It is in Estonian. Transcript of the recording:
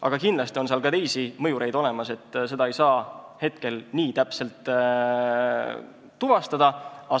Aga kindlasti on seal ka teisi mõjureid, seda ei saa nii täpselt tuvastada.